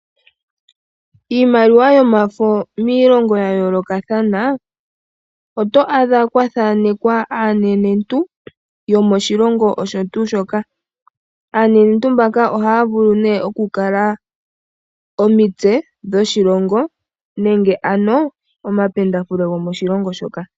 Iimaliwa yomafo miilongo yayoolokathana oto adha kwathaanekwa aanenentu yomoshilongo osho tuu shoka. Aanenentu mbaka ohaya vulu oku kala omitse dhoshilongo nenge ano omapendafule gomoshilongo shoka.